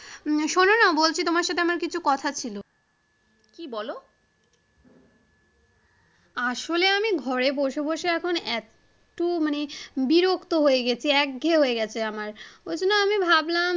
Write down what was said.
শোনোনা বলছি তোমার সাথে আমার কিছু কথা ছিলো। কি বলো আসলে আমি ঘরে বসে বসে এখন এতো মানে বিরক্ত হয়ে গেছি একঘেয়ে হয়ে গেছে আমার ওই জন্য আমি ভাবলাম,